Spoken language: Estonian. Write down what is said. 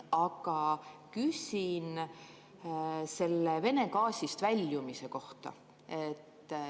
Aga küsin selle Vene gaasist väljumise kohta.